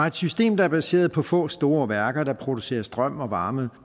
et system der er baseret på få store værker der producerer strøm og varme